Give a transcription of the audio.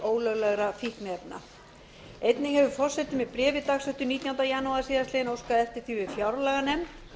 ólöglegra fíkniefna einnig hefur forseti með bréfi dagsettu nítjánda janúar síðastliðnum óskað eftir því við fjárlaganefnd